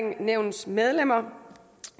nævnets medlemmer